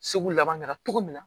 Segu laban kɛra cogo min na